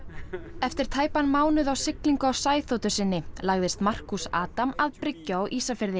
eftir tæpan mánuð á siglingu á sinni lagðist Markus Adam að bryggju á Ísafirði